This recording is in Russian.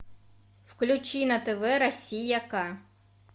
включи на тв россия к